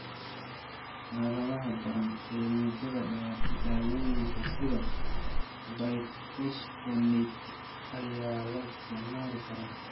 Xaaladaha daran, ee muddada dheer, daawooyinka sida bifosphonates ayaa la isticmaali karaa.